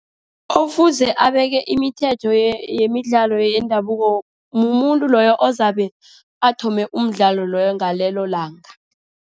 Ofuze abeke imithetho yemidlalo yendabuko, mumuntu loyo ozabe athome umdlalo loyo ngalelo langa.